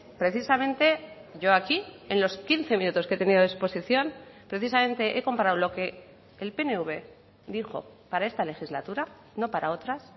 precisamente yo aquí en los quince minutos que he tenido de exposición precisamente he comparado lo que el pnv dijo para esta legislatura no para otras